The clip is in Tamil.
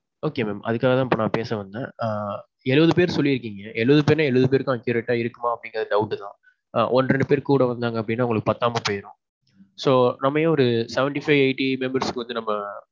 Okay mam. அதுக்காக தான் நான் இப்போ பேச வந்தேன். ஆ. எழுவது பேர் சொல்லி இருக்கீங்க. எழுவது பேர்னா எழுவது பேர்க்கும accurate ஆ இருக்குமா அப்படீங்குறது doubt தான். ஒன்னு ரெண்டு பேர் கூட வந்தாங்க அப்படினா அவங்களுக்கு பத்தாம போயிரும். so, நம்ம ஏன் ஒரு seventy five eightly members க்கு வந்து நம்ம